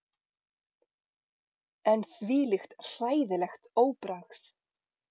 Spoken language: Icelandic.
En þvílíkt hræðilegt óbragð!